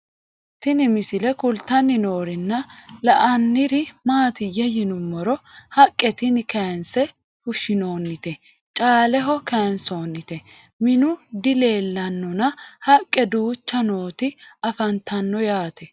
Tinni misile kulittanni noorrinna la'nanniri maattiya yinummoro haqqe tinni kayiinse fushshinnoonnitte caaleho kayiinsoonnitte minnu dileellannonna haqqe duuchcha nootti afanttanno yaatte